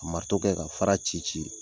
kɛ ka fara ci ci .